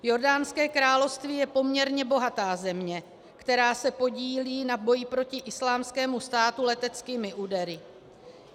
Jordánské království je poměrně bohatá země, která se podílí na boji proti Islámskému státu leteckými údery.